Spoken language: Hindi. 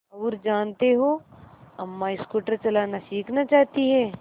और जानते हो अम्मा स्कूटर चलाना सीखना चाहती हैं